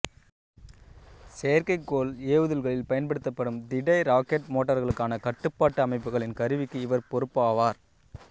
செயற்கைக்கோள் ஏவுதல்களில் பயன்படுத்தப்படும் திட இராக்கெட் மோட்டர்களுக்கான கட்டுப்பாட்டு அமைப்புகளின் கருவிக்கு இவர் பொறுப்பாவார்